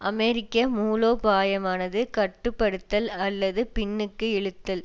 அமெரிக்க மூலோபாயமானது கட்டு படுத்தல் அல்லது பின்னுக்கு இழுத்தல்